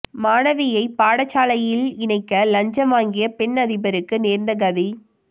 மாணவியை பாடசாலையின் இணைக்க இலஞ்சம் வாங்கிய பெண் அதிபருக்கு நேர்ந்த கதி